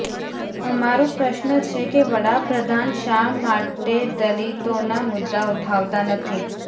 અમારો પ્રશ્ન છે કે વડાપ્રધાન શા માટે દલિતોના મુદ્દા ઉઠાવતા નથી